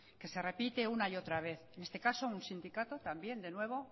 que se repite una y otra vez en este caso un sindicato también de nuevo